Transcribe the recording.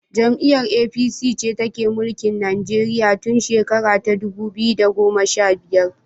Jam'iyar APC ce take mulkin Nigeria tun shera ta dubu biyu da goma sha biyar.